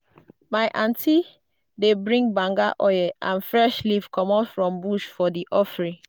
my auntie dey bring banga and fresh leaf comot from bush for di offering.